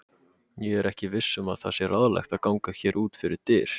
Ég er ekki viss um að það sé ráðlegt að ganga hér út fyrir dyr.